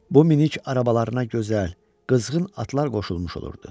Bu minik arabalarına gözəl, qızğın atlar qoşulmuş olurdu.